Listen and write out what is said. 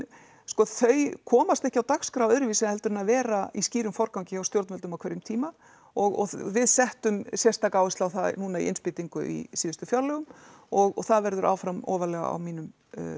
sko þau komast ekki á dagskrá öðruvísi heldur en að vera í skýrum forgangi hjá stjórnvöldum á hverjum tíma og við settum sérstaka áherslu á það að núna í innspýtingu í síðustu fjárlögum og það verður áfram ofarlega á mínumm